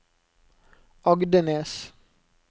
Agdenes